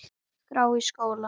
skrá í skóla?